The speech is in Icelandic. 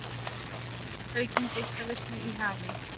Aukin geislavirkni í hafi